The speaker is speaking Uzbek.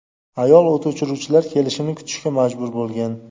Ayol o‘t o‘chiruvchilar kelishini kutishga majbur bo‘lgan.